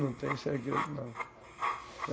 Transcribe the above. Não tem segredo, não.